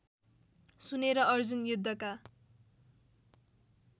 सुनेर अर्जुन युद्धका